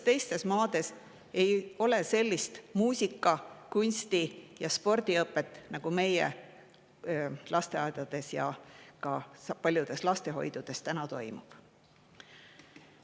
Paljudes maades ei toimu sellist muusika-, kunsti- ja spordiõpet, nagu meie lasteaedades ja paljudes lastehoidudes toimub.